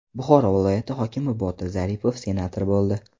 Buxoro viloyati hokimi Botir Zaripov senator bo‘ldi.